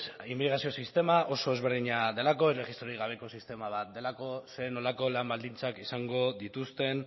immigrazio sistema oso desberdina delako erregistrorik gabeko sistema bat delako zer nolako lan baldintzak izango dituzten